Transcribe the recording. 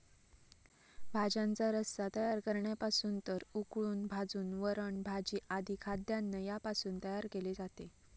भाज्यांचा रस्सा तयार करण्यापासून तर उकळून भाजून वरण भाजी आधी खाद्यान्न यापासून तयार केले जाते